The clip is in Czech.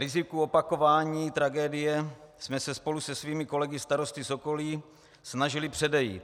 Riziku opakování tragédie jsme se spolu se svými kolegy starosty z okolí snažili předejít.